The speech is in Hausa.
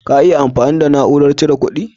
Ka iya amfani da na'urar cire ƙudi?